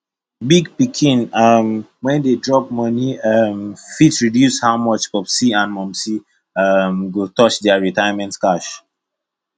big pikin um wey dey drop money um fit reduce how much popsi and momsi um go touch their retirement cash